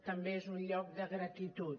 també és un lloc de gratitud